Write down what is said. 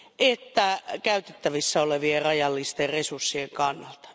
että käytettävissä olevien rajallisten resurssien kannalta.